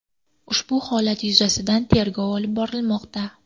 Ushbu holat yuzasidan tergov olib borilmoqda.